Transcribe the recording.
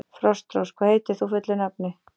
Frostrós, hvað heitir þú fullu nafni?